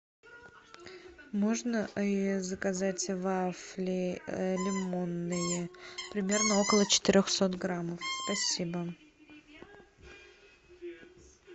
можно заказать вафли лимонные примерно около четырехсот граммов спасибо